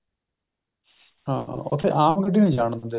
ਉਥੇ ਆਂਮ ਗੱਡੀ ਨਹੀਂ ਜਾਣ ਦਿੰਦੇ